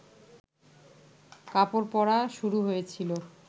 কাপড় পরা শুরু হয়েছিল